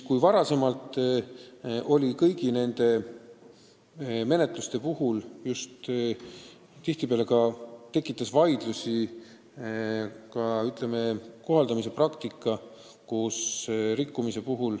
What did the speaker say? Kõigi nende menetluste puhul on seni tihtipeale vaidlusi tekitanud ka karistuse kohaldamise praktika.